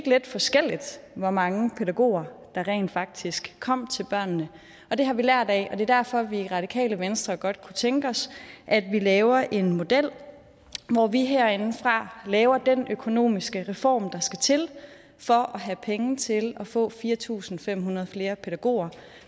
lidt forskelligt hvor mange pædagoger der rent faktisk kom ud til børnene og det har vi lært af og det er derfor at vi i radikale venstre godt kunne tænke os at vi laver en model hvor vi herindefra laver den økonomiske reform der skal til for at have penge til at få fire tusind fem hundrede flere pædagoger